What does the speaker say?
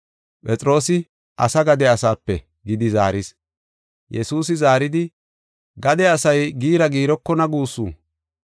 Phexroosi “Asa gade asape” gidi zaaris. Yesuusi zaaridi, “Gade asay giira giirokona guussu.